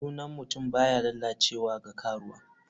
Sunan mutum baya lalacewa ga karuwa.